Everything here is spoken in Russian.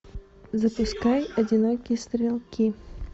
запускай одинокие стрелки